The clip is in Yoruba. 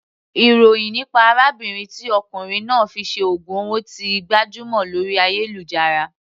Ìròhìn nípa arábìnrin tí ọkùnrin náà fi ṣe ògùn owó ti gbajúmọ̀ lórí ayélujára.